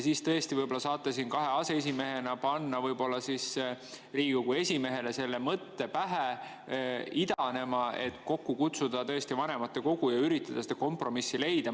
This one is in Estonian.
Siis tõesti võib-olla saavad kaks aseesimeest panna Riigikogu esimehele pähe idanema mõtte, et kokku kutsuda vanematekogu ja üritada seda kompromissi leida.